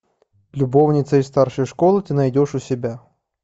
любовница из старшей школы ты найдешь у себя